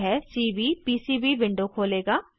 यह CVPCB window खोलेगा